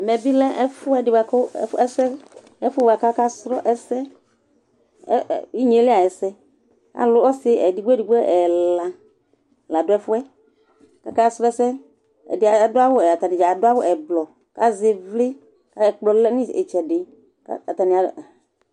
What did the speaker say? ɛmɛbɩ lɛ ɛfʊɛdɩ bua kʊ aka sʊ inyeli ayʊ ɛsɛ, ɔsi ɛla la dʊ ɛfʊ yɛ, kʊ aka sʊ ɛsɛ, atanɩdza adʊ awu avavlitsɛ, kʊ azɛ ɩvlɩ ɛkplɔ lɛ nʊ itsɛdɩ